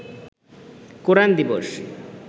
কোরআন দিবস